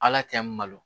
Ala tɛ n balo